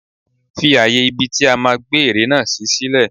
Fi ààyè ibi tí a máa gbé ère náà sí sílè.